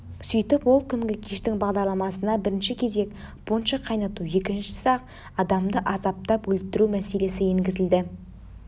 сөйтіп ол күнгі кештің бағдарламасына бірінші кезек пунша қайнату екіншісі ақ адамды азаптап өлтіру мәселесі енгізілді